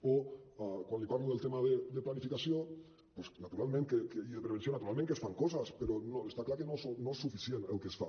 o quan li parlo del tema de planificació doncs naturalment que hi ha prevenció naturalment que es fan coses però estar clar que no és suficient el que es fa